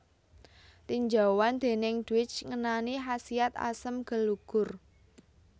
Tinjauan déning Dweck ngenani khasiat asem gelugur